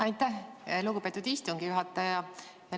Aitäh, lugupeetud istungi juhataja!